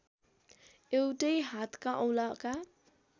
एउटै हातका औंलाका